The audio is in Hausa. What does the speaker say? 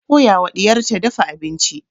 Ta koya wa ɗiyar ta dafa abinci.